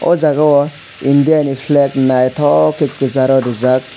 oh jaga o naithotok india ni flag naithok khe kwcharo rijak.